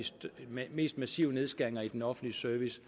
mest massive nedskæringer i den offentlige service